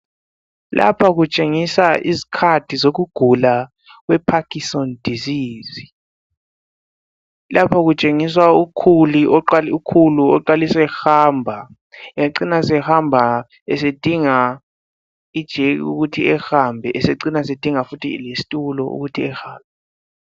Lapha kutshengisa izikhathi zokugula kwe Parkinson disease. Lapha kutshengiswa ukhulu oqalisa ehamba ecine sehamba esedinga ijeki ukuthi ehambe esecina esedinga futhi lesitulo ukuthi ehambe.